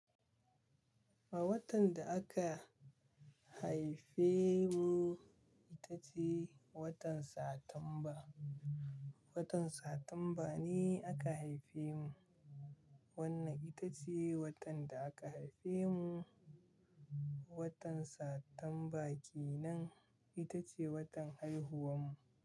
A watan da aka haife mu ita ce watan Satamba. Watan Satamba ne aka haife mu. Wannan ita ce watan da aka haife mu. Watan Satamba kenan ita ce watan haihuwar mu.